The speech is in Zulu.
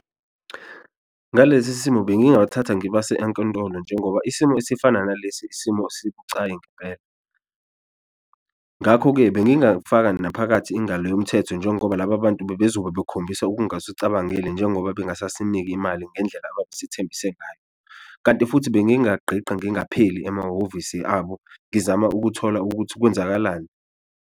Ngalesi simo bengingabathatha ngibase enkantolo njengoba isimo esifana nalesi isimo sibucayi ngempela, ngakho-ke bengingafaka naphakathi ingalo yomthetho njengoba laba bantu bezobe bekhombisa okungasucabangeli njengoba bengasasiniki imali ngendlela ababesithembise ngayo. Kanti futhi bengingagqigqa ngingapheli emahhovisi abo ngizama ukuthola ukuthi kwenzakalani.